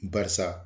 Barisa